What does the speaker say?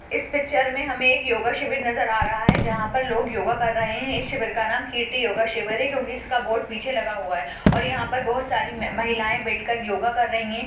इस पिक्चर मे हमे एक योगा शिविर नजर आ रहा है जहाँ पर लोग योगा कर रहे है इस शिविर का नाम कीर्ति योगा शिविर है क्योँकि इसका बोर्ड पीछे लगा हुआ है और यहाँ पर बहुत सारी महिलायें बैठ कर योगा कर रही है।